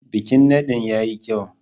Bikin nadin ya yi kyau.